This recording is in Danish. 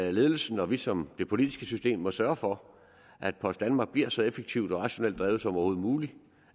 at ledelsen og vi som det politiske system må sørge for at post danmark bliver så effektivt og rationelt drevet som overhovedet muligt